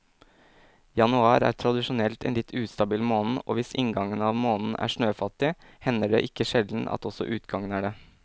Januar er tradisjonelt en litt ustabil måned og hvis inngangen av måneden er snøfattig, hender det ikke sjelden at også utgangen er det.